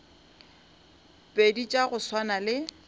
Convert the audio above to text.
pedi tša go swana le